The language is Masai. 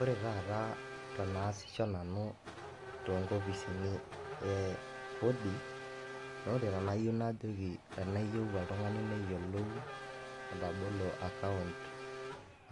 Ore taata teneasisho nanu toonkopisini e Kodi, naa ore teniyou oltung'ani neyioulou atabolo akaount